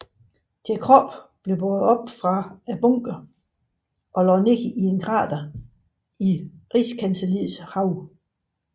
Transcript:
Deres kroppe blev båret op fra bunkeren og lagt ned i et krater i rigskancelliets have